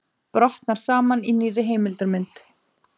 Brotnar saman í nýrri heimildarmynd